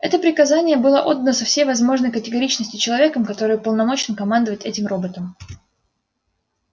это приказание было отдано со всей возможной категоричностью человеком который уполномочен командовать этим роботом